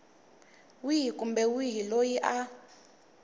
wihi kumbe wihi loyi a